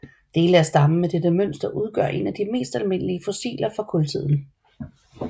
Dele af stammen med dette mønster udgør en af de mest almindelige fossiler fra kultiden